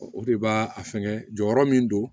O de b'a a fɛnkɛ jɔyɔrɔ min don